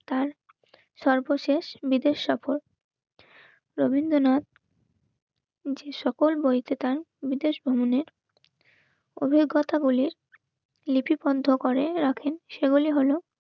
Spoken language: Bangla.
তার সর্বশেষ বিদেশ সফর. রবীন্দ্রনাথ যে সকল বইকে তাঁর বিদেশ ভ্রমণের অভিজ্ঞতাগুলির লিপি বন্ধ করে রাখেন. সেগুলি হল